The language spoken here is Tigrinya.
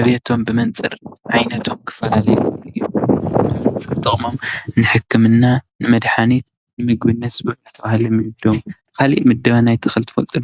ዕብየቶም ብመንፅር ዓይነቶም ክፈላለዩ ይኽእሉ እዮም፡፡ ብመንፅር ጥቕሞም ንሕክምና ንመድሓኒት ንምግብነት ዝውዕሉ ተባሂሎም ይምደቡ፡፡ ካሊእ ምደባ ናይ ተኽሊ ትፈልጡ ዶ?